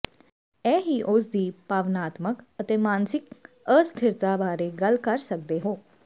ਇਹ ਹੀ ਉਸ ਦੀ ਭਾਵਨਾਤਮਕ ਅਤੇ ਮਾਨਸਿਕ ਅਸਥਿਰਤਾ ਬਾਰੇ ਗੱਲ ਕਰ ਸਕਦੇ ਹੋ